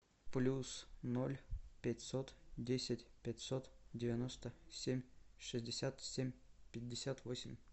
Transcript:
плюс ноль пятьсот десять пятьсот девяносто семь шестьдесят семь пятьдесят восемь